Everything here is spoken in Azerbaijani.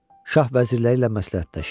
Şah vəzirləri ilə məsləhətləşir.